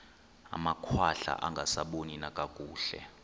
amakhwahla angasaboni nakakuhle